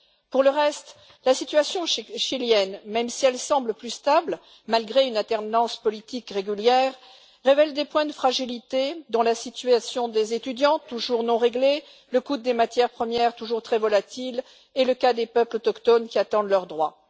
Pour le reste, la situation chilienne, même si elle semble plus stable malgré une alternance politique régulière, révèle des points de fragilité, dont la situation des étudiants, toujours non réglée, le coût des matières premières, toujours très volatil, et le cas des peuples autochtones qui attendent leurs droits.